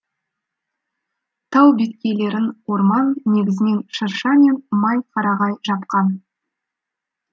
тау беткейлерін орман негізінен шырша мен май қарағай жапқан